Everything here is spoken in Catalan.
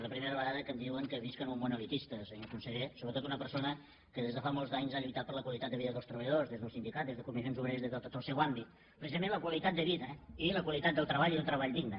la primera vegada que em diuen que visc en un món elitista senyor conseller sobretot una persona que des de fa molts anys ha lluitat per la qualitat de vida dels treballadors des del sindicat des de comissions obreres des de tot el seu àmbit precisament la qualitat de vida i la qualitat del treball i un treball digne